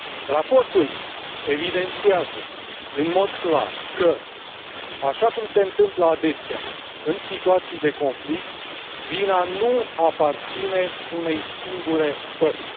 Raportul evidențiază în mod clar că, așa cum se întâmplă adesea în situații de conflict, vina nu aparține unei singure părți.